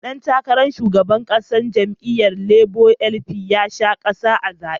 Dan takarar shugaban kasa na jam'iyyar Labour (LP) ya sha kaya a zaben.